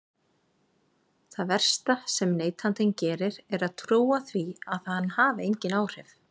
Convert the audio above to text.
Það versta sem neytandinn gerir er að trúa því að hann hafi engin áhrif.